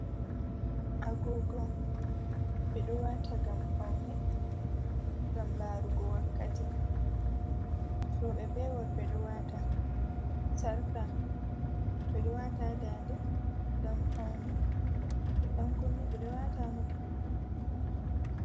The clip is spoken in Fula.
Agugo, ɓeɗo wata ngam paune, ngam larugo wakkati. roɓe be worɓe ɗo wata. Sarka, Ɓeɗo wata ha dande ngam paune, dan kunne ɓeɗo wata maɓɓi ngam paune.